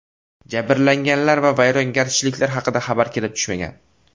Jabrlanganlar va vayrongarchiliklar haqida xabar kelib tushmagan.